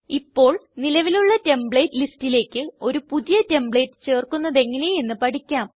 ഇപ്പോൾ നിലവിലുള്ള ടെംപ്ലേറ്റ് ലിസ്റ്റിലേക്ക് ഒരു പുതിയ ടെംപ്ലേറ്റ് ചേർക്കുന്നതെങ്ങനെ എന്ന് പഠിക്കാം